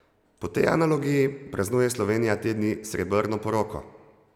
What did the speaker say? Po tej analogiji, praznuje Slovenija te dni srebrno poroko!